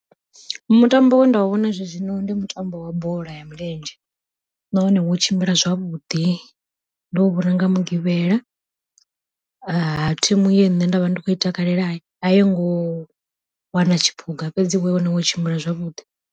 Mutambo wenda u vhona zwezwino ndi mutambo wa bola ya milenzhe, nahone wo tshimbila zwavhuḓi ndo u vhona nga mugivhela, ha thimu ye nṋe nda vha ndi khou i takalela a yingo wana tshiphuga fhedzi wone wo tshimbila zwavhuḓi.